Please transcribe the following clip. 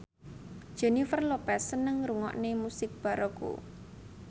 Jennifer Lopez seneng ngrungokne musik baroque